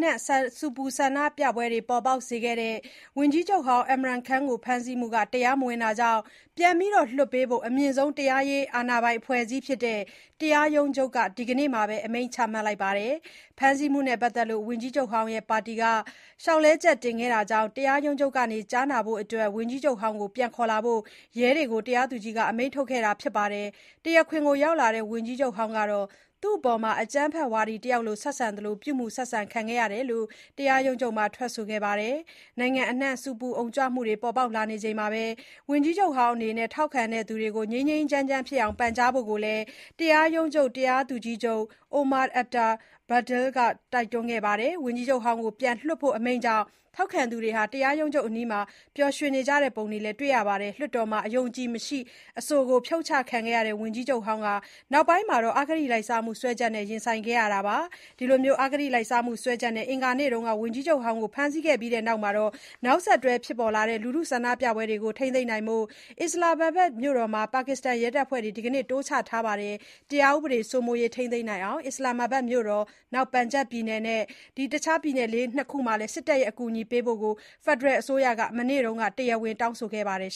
နှံ့ ဆူပူဆန္ဒပြပွဲတွေ ပေါ်ပေါက်ခဲ့တဲ့ ဝန်ကြီးချုပ်ဟောင်း Imran Khan ကို ဖမ်းဆီးမှုဟာ တရားမဝင်တာကြောင့် ပြန်လွှတ်ပေးဖို့ အမြင့်ဆုံး တရားရေး အာဏာပိုင်အဖွဲ့အစည်းဖြစ်တဲ့ တရားရုံးချုပ်က ဒီကနေ့မှာပဲ အမိန့်ချလိုက်ပါတယ်။ ဖမ်းဆီးမှုနဲ့ ပတ်သက်လို့ ဝန်ကြီးချုပ်ဟောင်းရဲ့ ပါတီက လျှောက်လဲချက် တင်ခဲ့တာကြောင့် တရားရုံးချုပ်က ကြားနာဖို့အတွက် ဝန်ကြီးချုပ်ဟောင်းကို ပြန်ခေါ်လာဖို့ ရဲတွေကို တရားသူကြီးက အမိန့်ထုတ်ခဲ့တာပါ။ တရားခွင်ကို ရောက်လာတဲ့ ဝန်ကြီးချုပ်ဟောင်းကတော့ သူ့အပေါ်မှာ အကြမ်းဖက်ဝါဒီတယောက်ကို ဆက်ဆံသလို ပြုမူဆက်ဆံ ခံခဲ့ရတယ်လို့ တရားရုံးချုပ်မှာ ထွက်ဆိုခဲ့ပါတယ်။ နိုင်ငံအနှံ့ ဆူပူအုံကြွမှုတွေ ပေါ်ပေါက်နေချိန်မှာ ဝန်ကြီးချုပ်ဟောင်း အနေနဲ့ ထောက်ခံသူတွေကို ငြိမ်းငြိမ်းချမ်းချမ်းဖြစ်အောင် ပန်ကြားဖို့လည်း တရားရုံးချုပ် တရားသူကြီးချုပ် Umar Ata Bandial က တိုက်တွန်းခဲ့ပါတယ်။ ဝန်ကြီးချုပ်ဟောင်းကို ပြန်လွှတ်ဖို့ အမိန့်ကြောင့် ထောက်ခံသူတွေ တရားရုံးချုပ်အနီး ပျော်ရွှင်နေတဲ့ ပုံတွေလည်း တွေ့ရပါတယ်။ လွှတ်တော်မှာ အယုံအကြည်မရှိ အဆိုနဲ့ ဖြုတ်ချခံခဲ့ရတဲ့ ဝန်ကြီးချုပ်ဟောင်းဟာ နောက်ပိုင်းမှာ အဂတိလိုက်စားမှု စွဲချက်တွေနဲ့ ရင်ဆိုင်ခဲ့ရတာပါ။ အဂတိလိုက်စားမှု စွပ်စွဲချက်တွေနဲ့ အင်္ဂါနေ့တုန်းက ပါကစ္စဝန်ကြီးချုပ်ဟောင်း Imran Khan ကို ဖမ်းဆီးပြီးတဲ့နောက် နောက်ဆက်တွဲ ဖြစ်ပေါ်လာတဲ့ လူထုဆန္ဒပြပွဲတွေကို ထိန်းသိမ်းနိုင်ဖို့ အစ္စလာမ်မာဘတ်မြို့တော်မှာ ပါကစ္စတန်ရဲတပ်ဖွဲ့တွေ ဒီနေ့ တိုးချထားပါတယ်။ တရားဥပဒေစိုးမိုးရေး ထိန်းသိမ်းနိုင်အောင် အစ္စလာမ်မာဘတ်မြို့တော်၊ ပန်ဂျပ်ပြည်နယ်နဲ့ Khy-ber Pakh-tun-khwa ပြည်နယ်တွေမှာ စစ်တပ်ရဲ့ အကူအညီပေးဖို့ ဖက်ဒရယ်အစိုးရက မနေ့တုန်းက တရားဝင်တောင်းဆိုခဲ့ပါတယ်